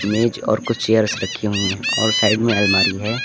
मेज और कुछ चेयर रखी हुई है और साइड में अलमारी है।